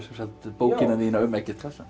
sagt bókina þína um Eggert